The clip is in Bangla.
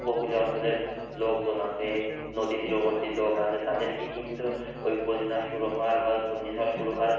উপকুলীয় অঞ্চলের লোকজন আছে, নদী তীরবর্তী লোক আছে তাদেরকে কিন্তু ঐ বন্যা শুরু হওয়ার বা ঘুর্ণিঝড় শুরু হওয়ার